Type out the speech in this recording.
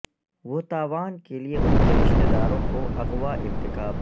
وہ تاوان کے لئے ان کے رشتہ داروں کو اغوا ارتکاب